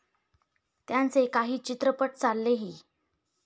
त्यांचे काही चित्रपट चाललेही.